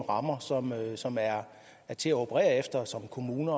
rammer som som er til at operere efter som kommune